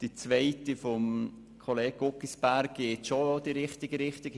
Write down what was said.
Die zweite von Kollege Guggisberg geht schon in die richtige Richtung.